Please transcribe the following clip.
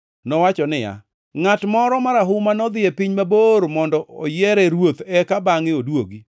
Nowacho niya, “Ngʼat moro marahuma nodhi e piny mabor mondo oyiere ruoth eka bangʼe oduogi.